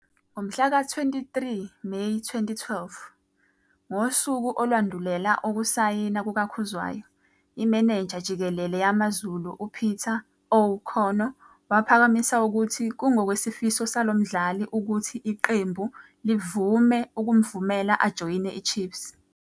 Ngomhla ka-23 Meyi 2012, ngosuku olwandulela ukusayina kukaKhuzwayo, imenenja jikelele yaMaZulu uPeter O'Connor waphakamisa ukuthi kungokwesifiso salo mdlali ukuthi iqembu livume ukumvumela ajoyine iChiefs.